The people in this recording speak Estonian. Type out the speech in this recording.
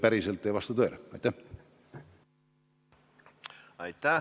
Aitäh!